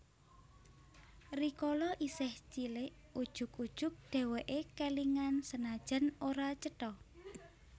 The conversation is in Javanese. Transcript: Rikala isih cilik ujug ujug dheweke kelingan senajan ora cetha